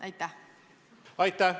Aitäh!